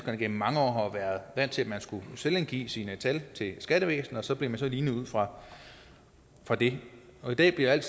har igennem mange år været vant til at man skulle selvangive sine tal til skattevæsenet og så blev man lignet ud fra fra det i dag bliver alt